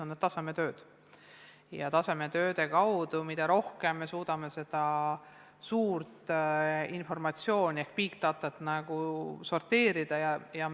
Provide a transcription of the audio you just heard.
Ja mida rohkem me suudame nende tasemetööde kaudu seda n-ö suurt informatsiooni ehk big data't sorteerida, seda parem.